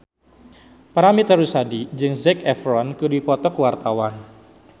Paramitha Rusady jeung Zac Efron keur dipoto ku wartawan